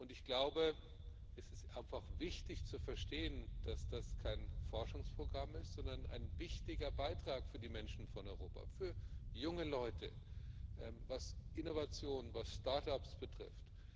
Ich glaube, es ist einfach wichtig zu verstehen, dass das kein Forschungsprogramm ist, sondern ein wichtiger Beitrag für die Menschen von Europa auch für junge Leute, was Innovation, was Start Ups betrifft.